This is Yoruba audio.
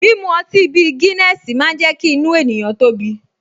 Mímu ọtí bí Guiness máa ń jẹ́ kí inú ènìyàn tóbi